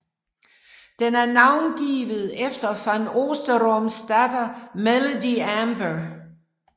Den er navngivet efter van Oosteroms datter Melody Amber